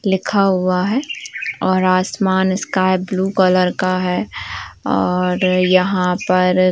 लिखा हुआ है और आसमान स्काई ब्लू कलर का है और यहाँ पर --